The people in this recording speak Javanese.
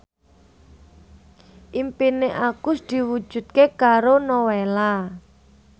impine Agus diwujudke karo Nowela